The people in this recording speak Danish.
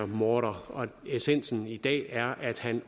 morder essensen i dag er at han